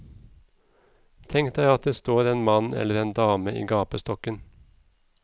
Tenk deg at det står en mann eller en dame i gapestokken.